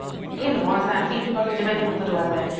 য়ে নহয় চা free বাৰু হঠাতে এনেও হোৱা যায়